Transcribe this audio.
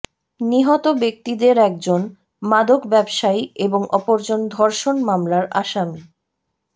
নিহত ব্যক্তিদের একজন মাদক ব্যবসায়ী এবং অপরজন ধর্ষণ মামলার আসামি